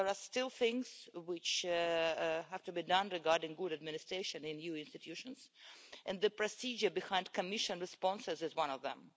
There are still things which have to be done regarding good administration in EU institutions, and the procedure behind Commission responses is one of them.